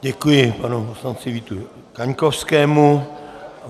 Děkuji panu poslanci Vítu Kaňkovskému.